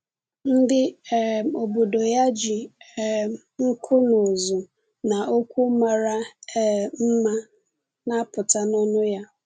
Ndị um obodo ya ji um nku n’ụzụ n’okwu mara um mma na-apụta n’ọnụ ya.